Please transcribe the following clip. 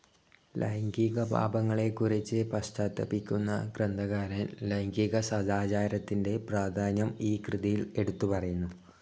ലൈംഗിക പാപങ്ങളെക്കുറിച്ച് പശ്ചാത്താപിക്കുന്ന ഗ്രന്ഥകാരൻ, ലൈംഗിക സദാചാരത്തിന്റെ പ്രാധാന്യം ഈ കൃതിയിൽ എടുത്തുപറയുന്നു.